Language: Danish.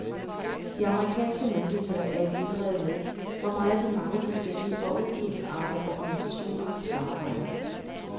De amerikanske myndigheder er i vildrede med, hvor meget de mange forskellige og uensartede organisationer samarbejder.